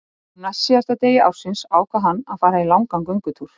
Á næstsíðasta degi ársins ákvað hann að fara í langan göngutúr.